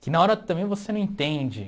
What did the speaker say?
Que na hora também você não entende.